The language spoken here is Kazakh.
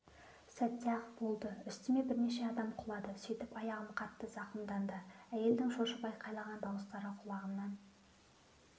сәтте-ақ болды үстіме бірнеше адам құлады сөйтіп аяғым қатты зақымданты әйелдердің шошып айқайлаған дауыстары құлағымнан